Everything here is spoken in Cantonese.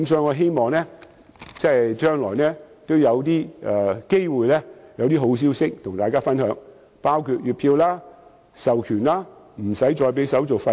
我希望將來有機會與大家分享好消息，包括月票、授權及免購票手續費等。